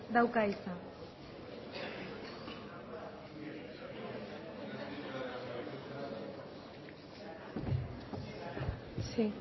dauka hitza sí